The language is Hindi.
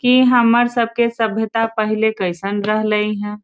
कि हमार सब के सब सभ्यता पहले कइसन रहले हाँ--